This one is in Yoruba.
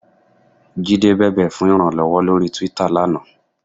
Jídé bẹ̀bẹ̀ fún ìrànlọ́wọ́ lórí Twitter lánàá.